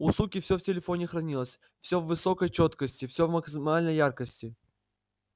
у суки всё в телефоне хранилось всё в высокой чёткости всё в максимальной яркости